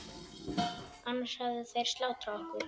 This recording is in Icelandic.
Annars hefðu þeir slátrað okkur.